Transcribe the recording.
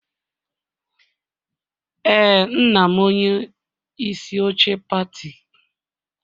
Ee, nna m onye isi oche pati